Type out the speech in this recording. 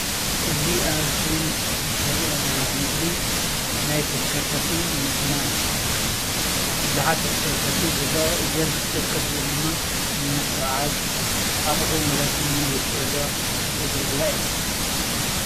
እዚ ኣብ እስክሪን ዝሪኦ ዘለኹ ምስሊ ናይ ተሽከርከርቲ መኪና ብዙሓት ተሽከርከርቲ እየን ዘለዋ፡፡ እዘን ተሽከርከርቲ እዚኤን ድማ ንምጉዕዓዝ ኣቑሑን ንብረትን ንነዊሕ ጉዕዞ ዘገልግላ እየን፡፡